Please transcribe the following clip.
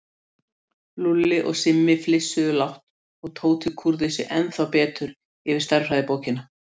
Lúlli og Simmi flissuðu lágt og Tóti kúrði sig ennþá betur yfir stærðfræðibókina.